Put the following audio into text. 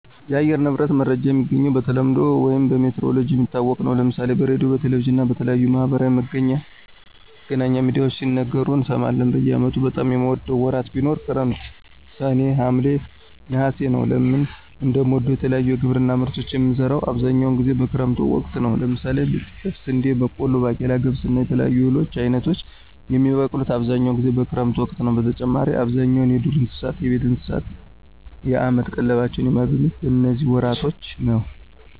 የአየር ንብረት መረጃ የሚገኘው በተለምዶ ውይም በሜትሮሎጅ የሚታወቅ ነው። ለምሳሌ በሬድዮ፣ በቴሌቪዥን እና በተለያዩ የማህበራዊ መገናኛ ሚድያዎች ሲነገሩ እንሰማለን። በአመቱ በጣም የምወደው ወራት ቢኖር ክረምት ሰኔ፣ ሀምሌ፣ ነሐሴ ነወ። ለምን እንደምወደው የተለያዩ የግብርና ምርቶችን የምንዘራው አብዛኛውን ጊዜ በክረምት ወቅት ነው። ለምሳሌ ጤፍ፣ ስንዴ፣ በቆሎ፣ ባቄላ፣ ገብስ እና የተለያዩ የእህል አይነቶች የሚበቅሉት አብዛኛውን ጊዜ በክረምት ወቅት ነዉ። በተጨማሪም አብዛኛው የዱር እንስሳት፣ የቤት እንስሳት የአመት ቀለባቸውን የሚያገኙት በነዚህ ወራቶች ነው።